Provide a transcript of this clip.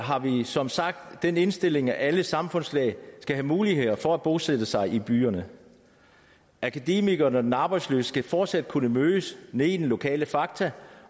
har vi som sagt den indstilling at alle samfundslag skal have mulighed for at bosætte sig i byerne akademikeren og den arbejdsløse skal fortsat kunne mødes nede i den lokale fakta